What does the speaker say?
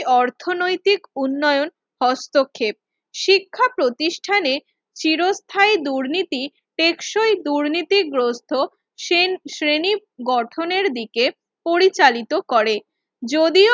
অর্থনৈতিক উন্নয়ন হস্তক্ষেপ শিক্ষা প্রতিষ্ঠানে চিরস্থায়ী দুর্নীতি টেকসই দুর্নীতিগ্রস্ত শ্রে শ্রেনী গঠনের দিকে পরিচালিত করে যদিও